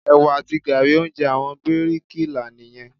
Ẹ̀wà àti gààrí, oúnjẹ àwọn bíríkì là nìyẹn.